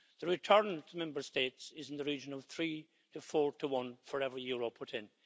The return to Member States is in the region of three to four to one for every euro put in.